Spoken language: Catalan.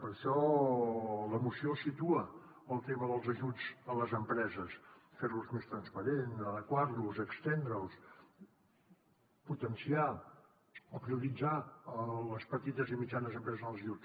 per això la moció situa el tema dels ajuts a les empreses fer los més transparents adequar los estendre’ls potenciar o prioritzar les petites i mitjanes empreses en els ajuts